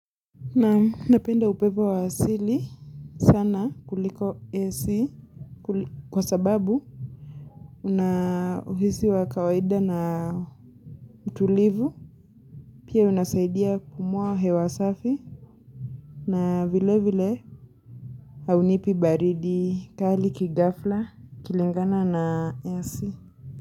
Naam napenda upepo wa asili sana kuliko AC kwa sababu una uhisi wa kawaida na utulivu, pia unasaidia kupumua hewa safi na vile vile haunipi baridi kali kighafla ikilingana na AC.